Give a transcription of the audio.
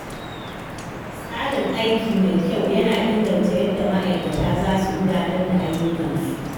Tsarin aiki mai kyau yana inganta yadda ma'aikata za su gudanar da ayyukansu.